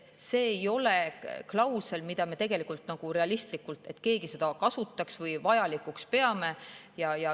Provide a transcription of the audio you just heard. See ei ole klausel, mida nagu realistlikult keegi kasutaks või vajalikuks peaks.